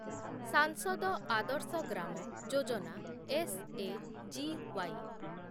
ସାଂସଦ ଆଦର୍ଶ ଗ୍ରାମ ଯୋଜନା ଏସ୍‌ଏଜିୱାଇ